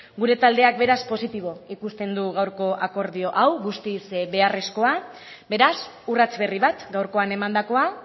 gure taldeak beraz positibo ikusten du gaurko akordio hau guztiz beharrezkoa beraz urrats berri bat gaurkoan emandakoa